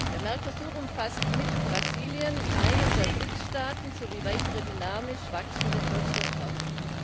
Der Mercosur umfasst mit Brasilien einen der BRICS Staaten sowie weitere dynamisch wachsende Volkswirtschaften.